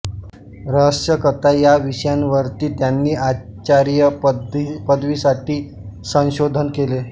रहस्यकथा या विषयावरती त्यांनी आचार्य पदवीसाठी संशोधन केले